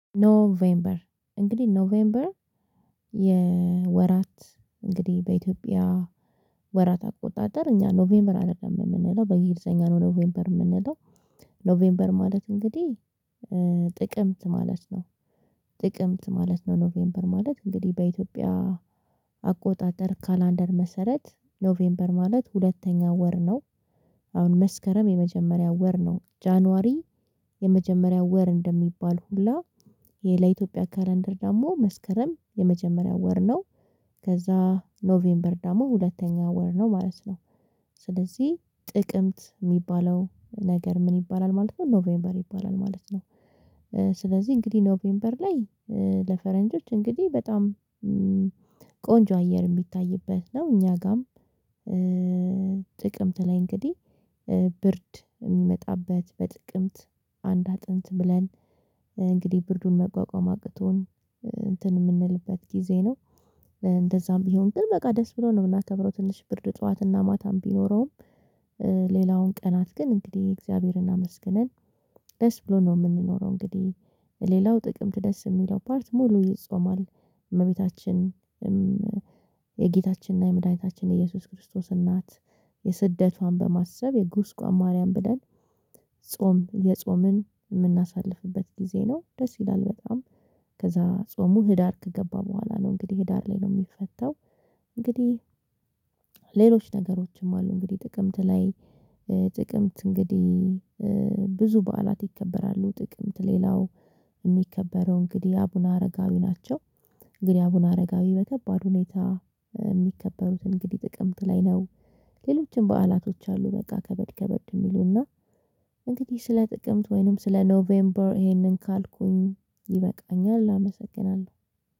ኖቬምበር እንግዲህ ኖቬምበር የወራት እንግዲህ በኢትዮጵያ ወራት አቆጣጠር እኛ ኖቬምበር አይደለም የምንለው በእንግሊዘኛ ነው ኖቬምበር የምንለው ኖቬምበር ማለት እንግዲህ ጥቅምት ማለት ነው። ጥቅምት ማለት ነው ኖቬምበር ማለት እንግዲህ በኢትዮጵያ አቆጣጠር ካላንደር መሰረት ኖቬምበር ማለት ሁለተኛ ወር ነው። አሁን መስከረም የመጀመሪያው ወር ነው ጃንዋሪ የመጀመሪያው ወር እንደሚባል ሁላ። ይሄ ለኢትዮጵያ ካለንደር ደግሞ መስከረም የመጀመሪያው ወር ነው። ከዛ ኖቬምበር ደግሞ ሁለተኛው ወር ነው ማለት ነው። ስለዚህ ጥቅምት የሚባለው ነገር ምን ይባላል ማለት ነው ኖቬምበር ይባላል ማለት ነው። ስለዚህ እንግዲህ ኖቬምበር ላይ ለፈረንጆች እንግዲህ በጣም ቆንጆ አየር የሚታይበት ነው። እኛ ጋርም ጥቅምት ላይ እንግዲህ ብርድየሚመጣበት በጥቅምት አንድ አጥንት ብለን እንግዲህ ብርዱን መቋቋም አቅቶን እንትን የምንልበት ጊዜ ነው። እንደዛም ቢሆን ግን በቃ ደስ ብሎን ነው የምናከብረው ትንሽ ብርድ ጠዋትና ማታም ቢኖረውም። ሌላውን ቀናት ግን እንግዲህ እግዚአብሔርን አመስግነን ደስ ብሎን ነው የምንኖረው እንግዲህ። ሌላው ጥቅምት ደስ የሚለው ፓርት ሙሉ ይጾማል። እመቤታችንም የጌታችንና የምድሃኒታችን የኢየሱስ ክርስቶስ እናት የስደቷን በማሰብ የጉስቋም ማርያም ብለን ጾም የጾምን የምናሳልፍበት ጊዜ ነው። ደስ ይላል በጣም። ጾሙ ህዳር ከገባ በኋላ ነው እንግዲህ ህዳር ላይ ነው የሚፈታው። እንግዲህ ሌሎች ነገሮችም አሉ እንግዲህ ጥቅምት ላይ ጥቅምት እንግዲህ ብዙ በዓላት ይከበራሉ። ጥቅምት ሌላው የሚከበረው እንግዲህ አቡነ አረጋዊ ናቸው። እንግዲህ አቡነ አረጋዊ በከባድ ሁኔታ የሚከበሩት እንግዲህ ጥቅምት ላይ ነው። ሌሎችም በዓላቶች አሉ በቃ ከበድ ከበድ የሚሉና እንግዲህ ስለ ጥቅምት ወይንም ስለ ኖቬምበር ይሄንን ካልኩኝ ይበቃኛል አመሰግናለሁ።